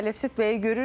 Əlövsət bəyi görürük.